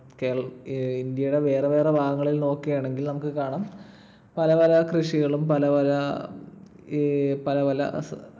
കേരളത്തിൽ ~ ഇൻഡ്യടെ വേറെ വേറെ ഭാഗങ്ങളിൽ നോക്കണെങ്കിൽ നമുക്ക് കാണാം പല പല കൃഷികളും പല പല ഈ ~ പല പല